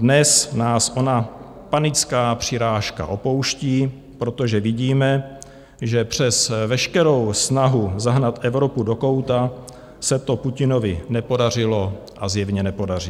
Dnes nás ona panická přirážka opouští, protože vidíme, že přes veškerou snahu zahnat Evropu do kouta se to Putinovi nepodařilo a zjevně nepodaří.